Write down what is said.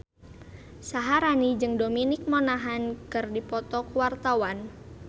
Syaharani jeung Dominic Monaghan keur dipoto ku wartawan